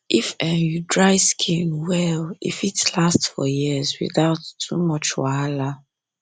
if um you dry skin well um e fit last for years without um too much wahala